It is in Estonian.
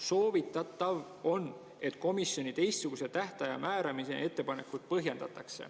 Soovitatav on, et komisjon teistsuguse tähtaja määramise ettepanekut põhjendaks.